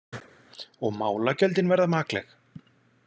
Og málagjöldin verða makleg.